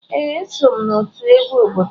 Ee, eso m n'otu egwu obodo m.